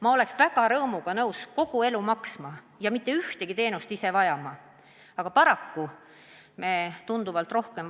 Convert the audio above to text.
Ma oleks rõõmuga nõus kogu elu seda raha maksma ja mitte ühtegi teenust ise vajama, aga paraku me vajame neid teenuseid aina rohkem.